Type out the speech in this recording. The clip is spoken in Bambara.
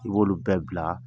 I b' olu bɛɛ bila